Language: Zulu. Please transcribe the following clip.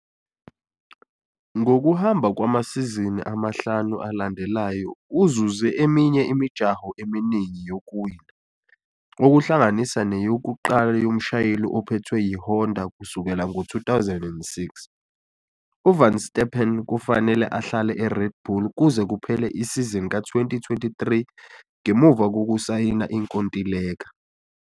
Ngokuhamba kwamasizini amahlanu alandelayo uzuze eminye imijaho eminingi yokuwina, okuhlanganisa neyokuqala yomshayeli ophethwe yiHonda kusukela ngo-2006. UVerstappen kufanele ahlale eRed Bull kuze kuphele isizini ka-2023 ngemuva kokusayina inkontileka.